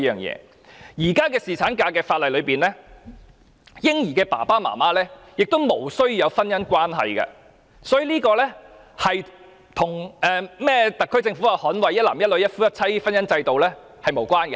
在現時的侍產假法例中，嬰兒父母是無須有婚姻關係的，所以這與特區政府提到捍衞一男一女、一夫一妻制的婚姻制度是無關的。